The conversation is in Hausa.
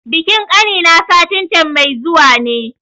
Bikin ƙani na satin can mai zuwa ne